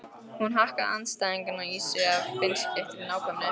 Hún hakkaði andstæðingana í sig af beinskeyttri nákvæmni.